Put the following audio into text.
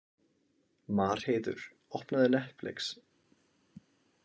Marheiður, opnaðu Netflix.